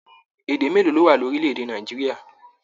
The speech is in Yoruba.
Èdè mélòó ló wà ní orílẹ̀-èdè Nàìjíríà?